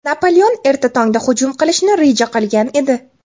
Napoleon erta tongda hujum qilishni reja qilgan edi.